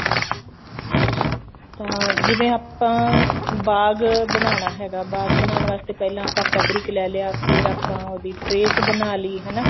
ਤਾਂ ਜਿਵੇਂ ਆਪਾਂ ਬਾਗ ਬਨਾਣਾ ਹੈਗਾ ਬਾਗ ਬਣਾਨ ਵਾਸਤੇ ਪਹਿਲਾਂ ਆਪਾਂ fabric ਲੈ ਲਿਆ ਫੇਰ ਆਪਾਂ ਉਹਦੀ trace ਬਣਾ ਲਈ ਹਨਾ